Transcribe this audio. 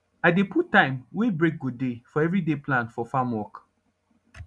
i dey put time wey break go dey for every day plan for farm work